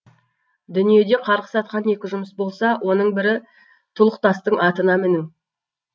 дүниеде қарғыс атқан екі жұмыс болса оның бірі тұлықтастың атына міну